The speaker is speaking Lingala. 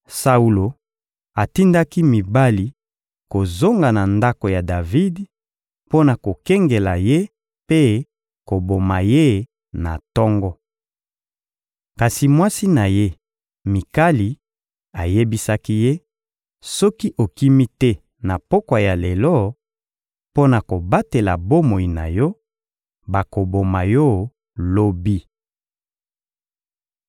Saulo atindaki mibali kozonga na ndako ya Davidi mpo na kokengela ye mpe koboma ye na tongo. Kasi mwasi na ye, Mikali, ayebisaki ye: «Soki okimi te na pokwa ya lelo mpo na kobatela bomoi na yo, bakoboma yo lobi!»